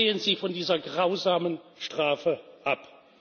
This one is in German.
Sehen Sie von dieser grausamen Strafe